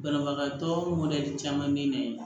Banabagatɔ mɔdɛli caman bɛ na yen